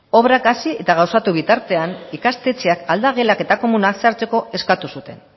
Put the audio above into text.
obrak hasi eta gauzatu bitartean ikastetxeak aldagelak eta komunak sartzeko eskatu zuten